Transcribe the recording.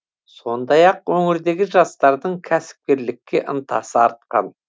сондай ақ өңірдегі жастардың кәсіпкерлікке ынтасы артқан